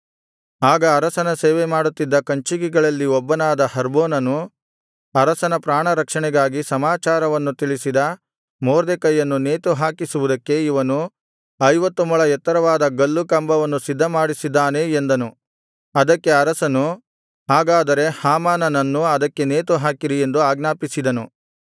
ಆಗ ಅರಸನ ಸೇವೆಮಾಡುತ್ತಿದ್ದ ಕಂಚುಕಿಗಳಲ್ಲಿ ಒಬ್ಬನಾದ ಹರ್ಬೋನನು ಅರಸನ ಪ್ರಾಣರಕ್ಷಣೆಗಾಗಿ ಸಮಾಚಾರವನ್ನು ತಿಳಿಸಿದ ಮೊರ್ದೆಕೈಯನ್ನು ನೇತುಹಾಕಿಸುವುದಕ್ಕೆ ಇವನು ಐವತ್ತು ಮೊಳ ಎತ್ತರವಾದ ಗಲ್ಲು ಕಂಬವನ್ನು ಸಿದ್ಧಮಾಡಿಸಿದ್ದಾನೆ ಎಂದನು ಅದಕ್ಕೆ ಅರಸನು ಹಾಗಾದರೆ ಹಾಮಾನನ್ನು ಅದಕ್ಕೇ ನೇತುಹಾಕಿರಿ ಎಂದು ಆಜ್ಞಾಪಿಸಿದನು